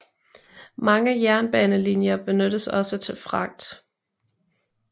Mange jernbanelinjer benyttes også til fragt